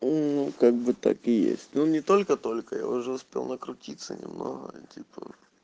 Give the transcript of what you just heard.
мм ну как бы так и есть но не только только я уже успел накрутиться немного и типа